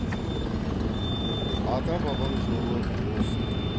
ата бабаң жолы осы